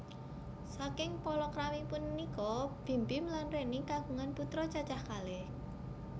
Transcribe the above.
Saking palakrami punika Bim Bim lan Reny kagungan putra cacah kalih